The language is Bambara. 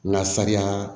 N ka sariya